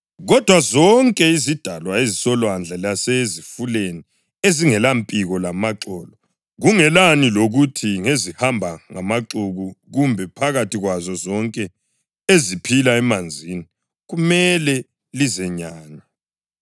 Kodwa zonke izidalwa ezisolwandle lasezifuleni ezingelampiko lamaxolo, kungelani lokuthi ngezihamba ngamaxuku kumbe phakathi kwazo zonke eziphila emanzini kumele lizenyanye.